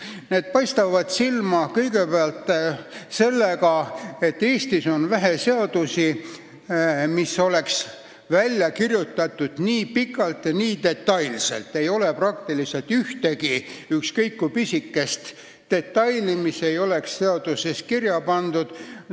Need paistavad silma kõigepealt sellega, et Eestis on vähe seadusi, mis oleks kirjutatud nii pikalt ja detailselt, ei ole peaaegu ühtegi ükskõik kui pisikest detaili, mis ei oleks seaduses kirja pandud.